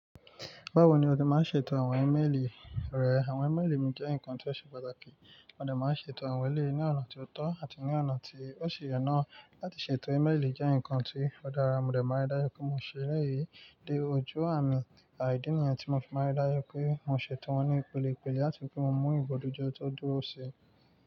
Báwo ni, o se máa ń ṣètò àwọn ímeèlì rẹ? Àwọn ímeèlì jẹ́ nǹkan tí ó ṣe pàtàkì. Mo dẹ̀ máa ń ṣètò àwọn eléyí ni ọ̀nà tí ó tọ́ àti ní ọ̀nà tí ó ṣe ọ́nà. Láti ṣètò meèlì jẹ́ nǹkan tí ó dára, mo dẹ̀ máa rí dájú pé mo ṣe lẹ́yìn dé ojú àmì, ìdí ni ẹ tí mo fi máa rí dájú pé mo ṣètò wọn ní ìpilẹ̀ láti fi ri pe mo mú ìmojuto tó dúró sí i.